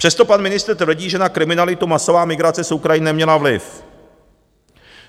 Přesto pan ministr tvrdí, že na kriminalitu masová migrace z Ukrajiny neměla vliv.